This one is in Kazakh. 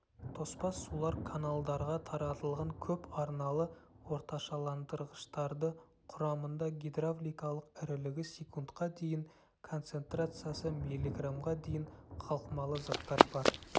тоспа сулар каналдарға таратылған көпарналы орташаландырғыштарды құрамында гидравликалық ірілігі секундқа дейін концентрациясы миллиграммға дейін қалқымалы заттар бар